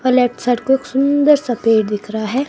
और left side को एक सुंदर सा पेड़ दिख रहा है।